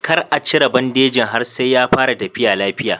Kar a cire bandejin har sai ya fara tafiya lafiya.